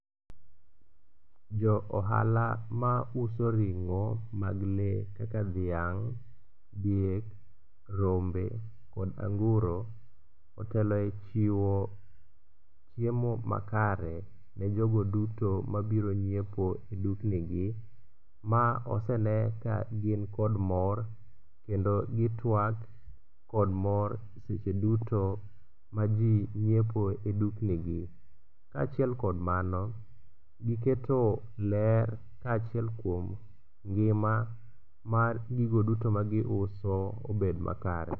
Jo ohala mauso ring'o mag lee kaka dhiang', diek, rombe kod anguro otelo e i chiwo chiemo makare ne jogo duto mabiro nyiepo e duknigi. Ma osenen kagin kod mor kendo gitwak kod mor seche duto ma ji nyiepo e duknigi. Kaachiel kod mano giketo ler kaachiel kuom ngima mar gigo duto magiuso obed makare.